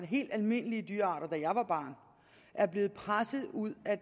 helt almindelige dyrearter da jeg var barn er blevet presset ud af